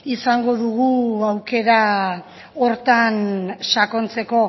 izango dugu aukera horretan sakontzeko